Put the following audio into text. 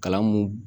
Kalan mun